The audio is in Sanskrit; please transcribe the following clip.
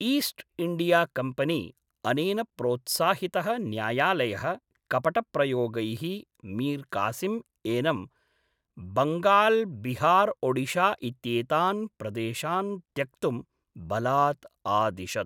ईस्ट् इण्डियाकम्पनी अनेन प्रोत्साहितः न्यायालयः कपटप्रयोगैः मीर्कासिम् एनम् बङ्गाल्बिहार्ओडिशा इत्येतान् प्रदेशान् त्यक्तुं बलात् आदिशत्।